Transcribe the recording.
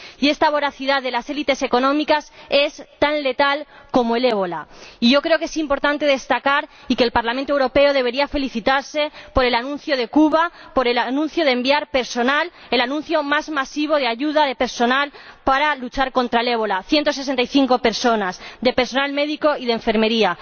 Y esta voracidad de las élites económicas es tan letal como el ébola. Y yo creo que es importante destacar —y el Parlamento Europeo debería felicitarse por ello— el anuncio de Cuba de enviar personal. Se trata del anuncio de envío más masivo de ayuda en forma de personal para luchar contra el ébola ciento sesenta y cinco personas, entre personal médico y de enfermería.